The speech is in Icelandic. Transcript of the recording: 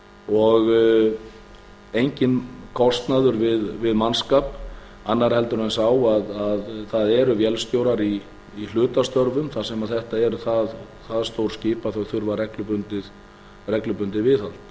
og enginn kostnaður við mannskap annar en sá að það eru vélstjórar í hlutastörfum þar sem þetta eru það stór skip að þau þurfa reglubundið viðhald